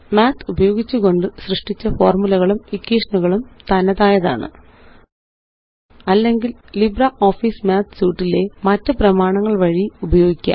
math ഉപയോഗിച്ചുകൊണ്ട് സൃഷ്ടിച്ച ഫോര്മുലകളും ഇക്വേഷനുകളും തനതായതാണ് അല്ലെങ്കില്LibreOffice Suiteലെ മറ്റ് പ്രമാണങ്ങള് വഴി ഉപയോഗിക്കാം